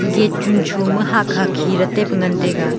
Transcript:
gate chuncho ma hahkha khile taipe ngan taiga.